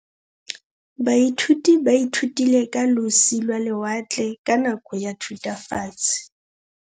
Baithuti ba ithutile ka losi lwa lewatle ka nako ya Thutafatshe.